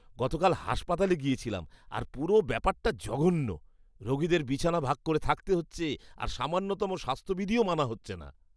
গতকাল হাসপাতালে গিয়েছিলাম, আর পুরো ব্যাপারটা জঘন্য। রোগীদের বিছানা ভাগ করে থাকতে হচ্ছে আর সামান্যতম স্বাস্থ্যবিধিও মানা হচ্ছেনা।